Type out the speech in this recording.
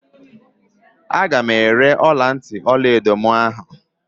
Aga m ere ọlantị ọlaedo mụ ahụ.